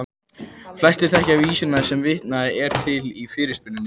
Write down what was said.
Flestir þekkja vísuna sem vitnað er til í fyrirspurninni.